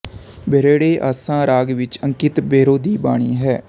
ਬਿਰਹੜੇ ਆਸਾ ਰਾਗ ਵਿੱਚ ਅੰਕਿਤ ਬਿਰਹੋਂ ਦੀ ਬਾਣੀ ਹੈ